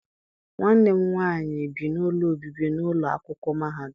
Nwanne m nwaanyị bi n'ụlọ obibi n'ụlọ akwụkwọ mahadum.